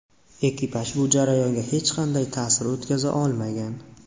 Ekipaj bu jarayonga hech qanday ta’sir o‘tkaza olmagan.